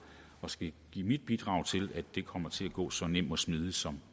og skal give mit bidrag til at det kommer til at gå så nemt og smidigt som